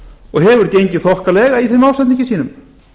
og hefur gengið þokkalega í þeim ásetningi sínum